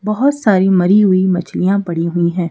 बहुत सारी मरी हुई मछलियां पड़ी हुई हैं।